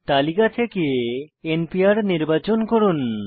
তালিকা থেকে n PR নির্বাচন করুন